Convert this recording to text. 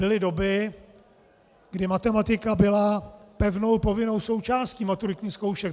Byly doby, kdy matematika byla pevnou, povinnou součástí maturitních zkoušek.